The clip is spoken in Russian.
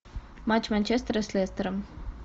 матч манчестера с лестером